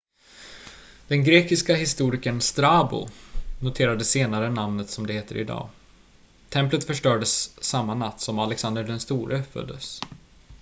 den grekiska historikern strabo noterade senare namnet som det heter idag templet förstördes samma natt som alexander den store föddes